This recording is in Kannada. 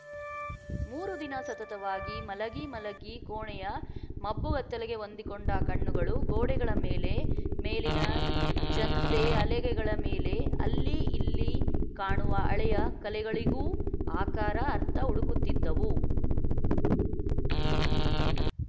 ಮೂರು ದಿನ ಸತತವಾಗಿ ಮಲಗಿ ಮಲಗಿ ಕೋಣೆಯ ಮಬ್ಬುಗತ್ತಲೆಗೆ ಹೊಂದಿಕೊಂಡ ಕಣ್ಣುಗಳು ಗೋಡೆಗಳ ಮೇಲೆ ಮೇಲಿನ ಜಂತೆಹಲಗೆಗಳ ಮೇಲೆ ಅಲ್ಲಿ ಇಲ್ಲಿ ಕಾಣುವ ಹಳೆಯ ಕಲೆಗಳಿಗೂ ಆಕಾರ ಅರ್ಥ ಹುಡುಕುತ್ತಿದ್ದುವು